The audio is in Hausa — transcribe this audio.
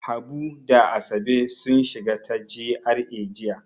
Habu da Asabe sun shiga ta GRA jiya.